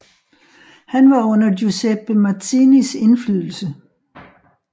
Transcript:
Han var under Giuseppe Mazzinis indflydelse